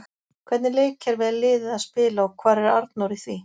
Hvernig leikkerfi er liðið að spila og hvar er Arnór í því?